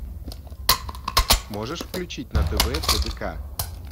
можешь включить на тв тдк